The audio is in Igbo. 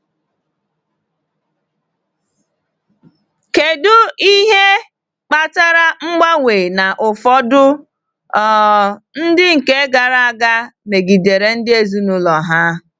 Kedu ihe kpatara mgbanwe na ụfọdụ um ndị nke gara aga megidere ndị ezinụlọ ha?